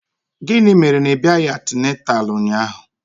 Gịnị mere na ị bịaghị antịnantal ụnyaahụ?